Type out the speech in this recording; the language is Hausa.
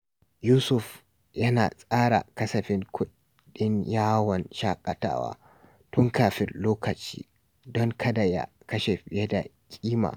Yusuf yana tsara kasafin kudin yawon shakatawa tun kafin lokaci don kada ya kashe fiye da kima.